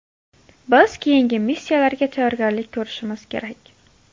Biz keyingi missiyalarga tayyorgarlik ko‘rishimiz kerak.